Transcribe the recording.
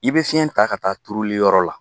I bɛ fiyɛn ta ka taa turuli yɔrɔ la